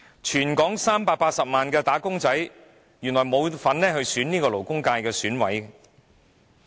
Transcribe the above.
全港380萬的"打工仔"原來沒有份選出勞工界選委。